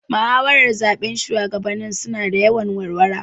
Muhawaran zaben shugaba su na da wuyan warwara